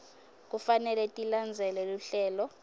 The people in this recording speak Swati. kufanele tilandzele luhlelo